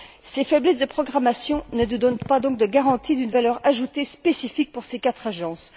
Ces faiblesses de programmation ne nous donnent donc pas de garantie d'une valeur ajoutée spécifique pour ces quatre agences.